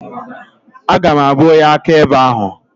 Aga m abụ onye akaebe ahụ.